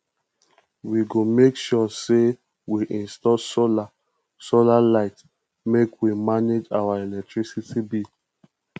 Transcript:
we go make sure sey we install solar solar light make we manage our electricity bill